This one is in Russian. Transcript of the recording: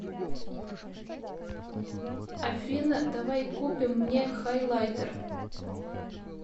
афина давай купим мне хайлайтер